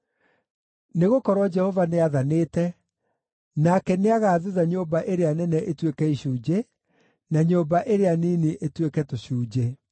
Nĩgũkorwo Jehova nĩathanĩte, nake nĩagathutha nyũmba ĩrĩa nene ĩtuĩke icunjĩ, na nyũmba ĩrĩa nini ituĩke tũcunjĩ.